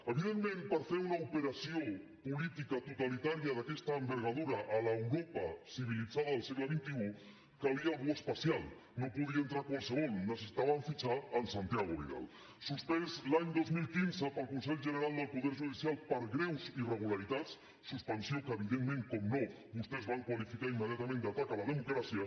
evidentment per fer una operació política totalitària d’aquesta envergadura a l’europa civilitzada del segle xxi calia algú especial no podia entrar hi qualsevol necessitaven fitxar en santiago vidal suspès l’any dos mil quinze pel consell general del poder judicial per greus irregularitats suspensió que evidentment per descomptat vostès van qualificar immediatament d’atac a la democràcia